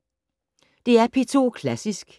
DR P2 Klassisk